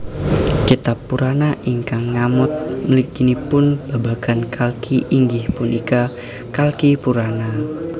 Kitab Purana ingkang ngamot mliginipun babagan Kalki inggih punika Kalkipurana